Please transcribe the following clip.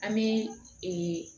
An bɛ ee